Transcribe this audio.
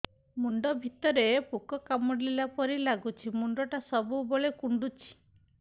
ମୁଣ୍ଡ ଭିତରେ ପୁକ କାମୁଡ଼ିଲା ପରି ଲାଗୁଛି ମୁଣ୍ଡ ଟା ସବୁବେଳେ କୁଣ୍ଡୁଚି